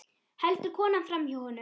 Heldur konan framhjá honum?